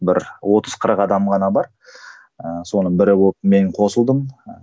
бір отыз қырық адам ғана бар ыыы соның бірі болып мен қосылдым ы